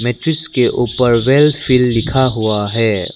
Matrix के ऊपर वेलफील लिखा हुआ है।